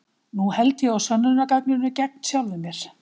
Nú held ég á sönnunargagninu gegn sjálfum mér.